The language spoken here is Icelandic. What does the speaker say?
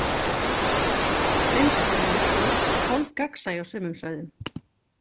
Blinda hliðin er hvít og hálf gagnsæ á sumum svæðum.